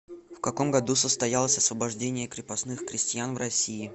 в каком году состоялось освобождение крепостных крестьян в россии